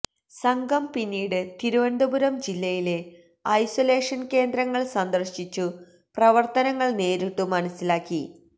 സംഘം പിന്നീട് തിരുവനന്തപുരം ജില്ലയിലെ ഐസൊലെഷൻ കേന്ദ്രങ്ങൾ സന്ദർശിച്ചു പ്രവർത്തനങ്ങൾ നേരിട്ടു മനസിലാക്കി